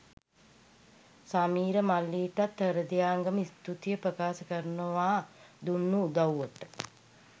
සමීර මල්ලිටත් හෘදයාංගම ස්තුතිය ප්‍රකාශ කරනවා දුන්නු උදව්වට